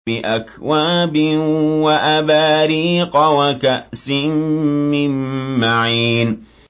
بِأَكْوَابٍ وَأَبَارِيقَ وَكَأْسٍ مِّن مَّعِينٍ